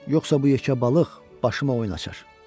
Yoxsa bu yekə balıq başıma oyun açar.